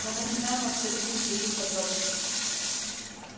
но мы не знаем абсолютно никаких подробностей